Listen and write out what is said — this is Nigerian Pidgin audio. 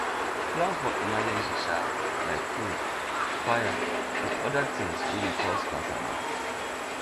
plan for emergency um like flood fire and oda things wey dey cause kasala